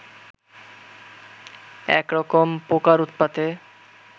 একরকম পোকার উৎপাতে